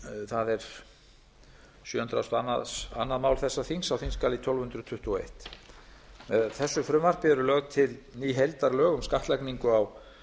það er sjö hundruð og önnur mál þessa þings á þingskjali tólf hundruð tuttugu og eitt með þessu frumvarpi er lögð til ný heildarlög um skattlagningu á